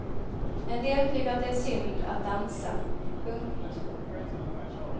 En del tycker att det är synd att dansa. punkt